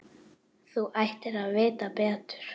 Þú ættir að vita betur!